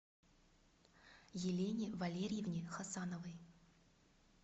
елене валерьевне хасановой